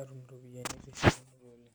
atum ropiyiani.